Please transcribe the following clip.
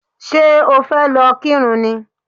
Ṣé o fẹ́ lọ kírun ni?